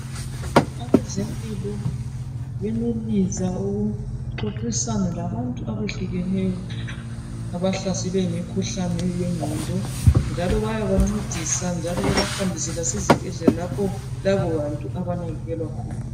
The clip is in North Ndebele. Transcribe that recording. Abezimpilo banelisa ukuxoxisana labantu ebehlukeneyo abahlaselwe yimikhuhlane yenqondo njalo bayaba ncedisa njalo baba hambise lasezibhedlela lapho labo bantu abanakekelwa khona.